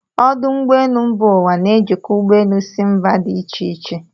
Ọdụ ụgbọelụ mba ụwa na-ejikọ ụgbọ elu si mba dị ịche ịche.